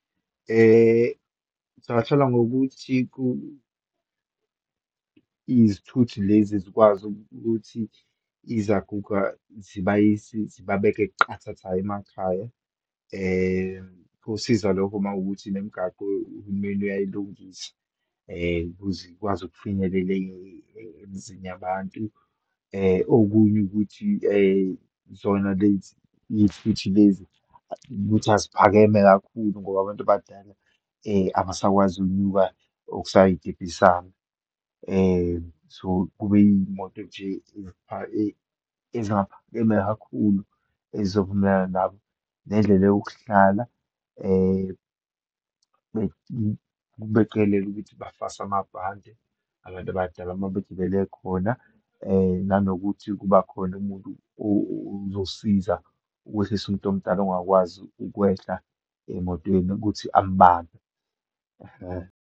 Singahlola ngokuthi izithuthi lezi zikwazi ukuthi izaguga zibayise, zibabeke qathatha emakhaya. Kusiza lokho uma kuwukuthi nemigaqo uhulumeni uyayilungisa, ukuze ikwazi ukufinyelela emizini yabantu. Okunye ukuthi, zona lezi iyifithi lezi, ukuthi eziphakeme kakhulu, ngoba abantu abadala abasakwazi ukunyuka okusayitebhisana. So, kube iyimoto nje ezingaphakeme kakhulu, ezizovumelana nabo. Nendlela yokuhlala beqikelele ukuthi bafaswa amabhande abantu abadala uma begibele khona. Nanokuthi kuba khona umuntu oyosiza ukwehlisa umuntu omdala ongakwazi ukwehla emotweni ukuthi amubambe, ehe.